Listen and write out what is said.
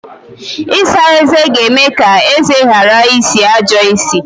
Ịsa eze ga-eme ka eze ghara isi ajọ isi.